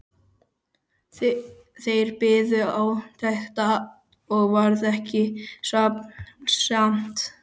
Þeir biðu átekta og varð ekki svefnsamt.